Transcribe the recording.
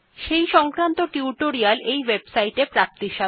সেই সংক্রান্ত মৌখিক টিউটোরিয়াল এই ওয়েবসাইট টিতে প্রাপ্তিসাধ্য